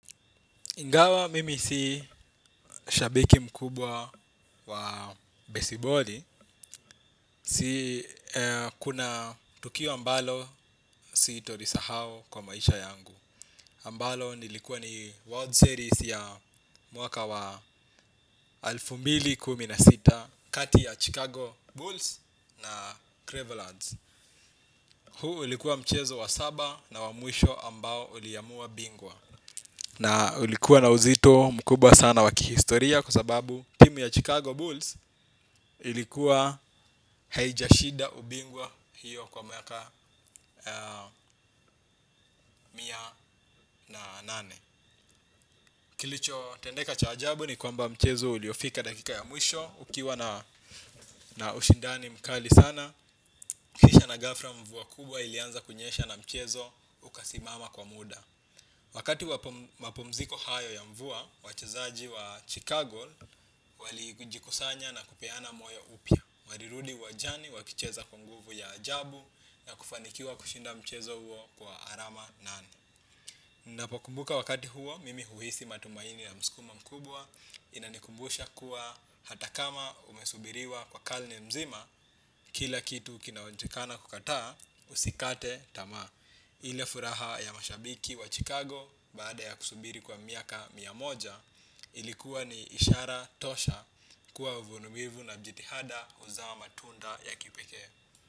Ingawa mimi si shabiki mkubwa wa besiboli, si kuna tukio ambalo sitolisahau kwa maisha yangu ambalo nilikuwa ni world series ya mwaka wa elfu mbili kumi na sita kati ya Chicago Bulls na Cravelands. Huu ulikuwa mchezo wa saba na wa mwisho ambao uliamua bingwa. Na ulikuwa na uzito mkubwa sana wa kihistoria kwa sababu timu ya Chicago Bulls ilikuwa haijashinda ubingwa hiyo kwa miaka mia na nane. Kilichotendeka cha ajabu ni kwamba mchezo uliofika dakika ya mwisho ukiwa na ushindani mkali sana kisha na ghafla mvua kubwa ilianza kunyesha na mchezo ukasimama kwa muda. Wakati wa mapumziko hayo ya mvua wachezaji wa Chicago walijikusanya na kupeana moyo upya. Walirudi uwanjani wakicheza kwa nguvu ya ajabu na kufanikiwa kushinda mchezo huo kwa alama nane. Ninapokumbuka wakati huo, mimi huhisi matumaini na msukumo mkubwa inanikumbusha kuwa hata kama umesubiriwa kwa karne mzima, kila kitu kinaonekana kukataa, usikate tamaa. Ile furaha ya mashabiki wa Chicago, baada ya kusubiri kwa miaka mia moja, ilikuwa ni ishara tosha kuwa uvumilivu na jitihada huzaa matunda ya kipekee.